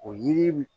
O yiri